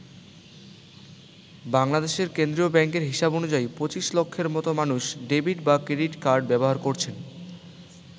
বাংলাদেশের কেন্দ্রীয় ব্যাংকের হিসাব অনুযায়ী ২৫ লক্ষের মতো মানুষ ডেবিট বা ক্রেডিট কার্ড ব্যবহার করছেন।